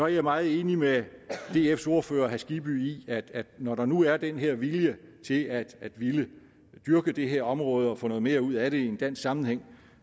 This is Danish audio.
jeg meget enig med dfs ordfører herre skibby i at når der nu er den her vilje til at ville dyrke det her område og få noget mere ud af det i en dansk sammenhæng